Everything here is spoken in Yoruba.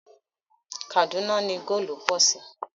Kàdúná ni góòlù pọ̀ sí